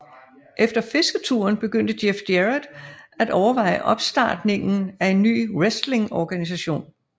Efter fisketuren begyndte Jeff Jarrett at overveje opstartningen af en ny wrestlingorganisation